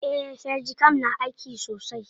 Eh, felxicam na aiki sosai.